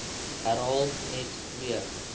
herhaal net weer